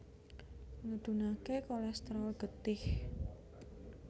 Ngedhunaké kolèsterol getih